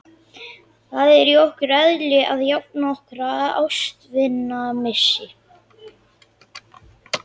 Það er í okkar eðli að jafna okkur á ástvinamissi.